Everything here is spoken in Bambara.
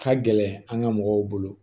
Ka gɛlɛn an ka mɔgɔw bolo